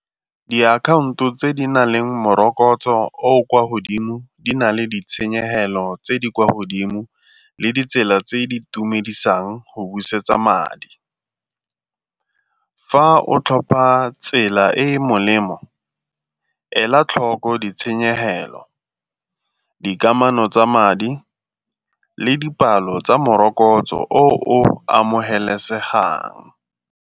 Diakhaonto tse di nang le morokotso o o kwa godimo di na le ditshenyegelo tse di kwa godimo le ditsela tse di itumedisang go busetsa madi. Fa o tlhopa tsela e e molemo ela tlhoko ditshenyegelo, dikamano tsa madi le dipalo tsa morokotso o o amogelesegang.